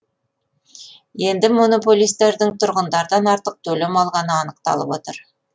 енді монополистердің тұрғындардан артық төлем алғаны анықталып отыр